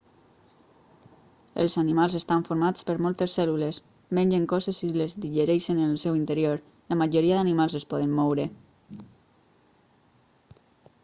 els animals estan formats per moltes cèl·lules mengen coses i les digereixen en el seu interior la majoria d'animals es poden moure